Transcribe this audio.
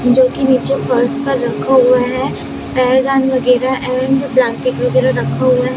जो कि नीचे फर्श पर रखा हुआ है पैरदान वगैरह एंड ब्लैंकेट वगैरह रखा हुआ है।